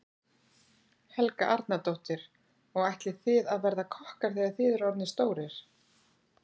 Helga Arnardóttir: Og ætlið þið að verða kokkar þegar þið eruð orðnir stórir?